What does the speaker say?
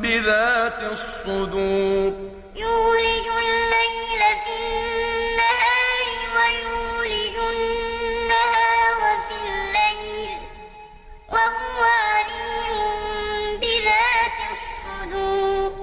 بِذَاتِ الصُّدُورِ يُولِجُ اللَّيْلَ فِي النَّهَارِ وَيُولِجُ النَّهَارَ فِي اللَّيْلِ ۚ وَهُوَ عَلِيمٌ بِذَاتِ الصُّدُورِ